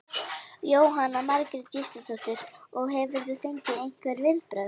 Jóhanna Margrét Gísladóttir: Og hefurðu fengið einhver viðbrögð?